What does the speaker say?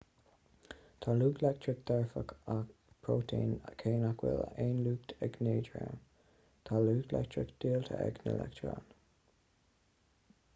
tá lucht leictreach dearfach ag prótóin cé nach bhfuil aon lucht ag neodróin tá lucht leictreach diúltach ag na leictreoin